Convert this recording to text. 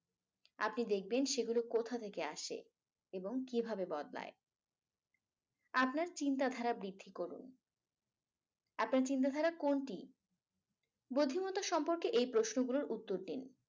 আপনি দেখবেন সেগুলো কোথা থেকে আসে এবং কিভাবে বদলায়। আপনার চিন্তাধারা বৃদ্ধি করুন আপনার চিন্তাধারা কোনটি? বুদ্ধিমত্তা সম্পর্কে এই প্রশ্নগুলোর উত্তর দিন।